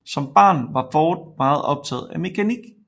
Som barn var Ford meget optaget af mekanik